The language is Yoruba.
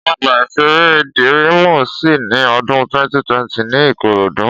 Ọgbà-ìṣeré Dírímù ṣí ní odún 2020 ní Ìkòròdú